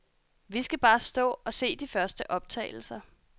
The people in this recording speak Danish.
Vi skal bare stå og se de første optagelser.